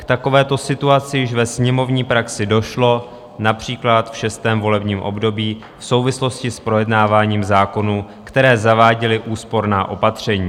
K takovéto situaci již ve sněmovní praxi došlo například v šestém volebním období v souvislosti s projednáváním zákonů, které zaváděly úsporná opatření.